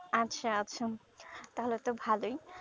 আচ্ছা আচ্ছা তাহলে তো ভালোই